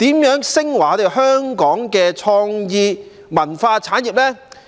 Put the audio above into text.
如何能令香港的創意文化產業昇華？